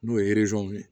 N'o ye ye